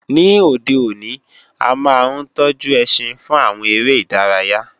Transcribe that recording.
Ní òde òní, a máa ń tọ́jú ẹṣin fún àwọn eré ìdárayá